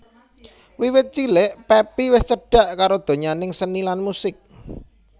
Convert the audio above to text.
Wiwit cilik Pepi wis cedhak karo donyaning seni lan musik